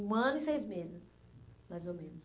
Um ano e seis meses, mais ou menos.